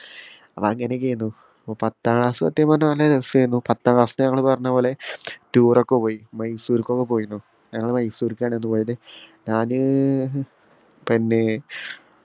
അപ്പോ അങ്ങനെയൊക്കെയാരിന്നു അപ്പൊ പത്താം class സത്യം പറഞ്ഞാ നല്ല രസായിരുന്നു പത്താ class ന്ന് ഞമ്മള് പറഞ്ഞ പോലെ tour ഒക്കെ പോയി മൈസൂർക്ക് ഒക്കെ പോയര്ന്നു ഞങ്ങള് മൈസൂർക്കാണ് അന്ന് പോയത് ഞാന് പിന്നെ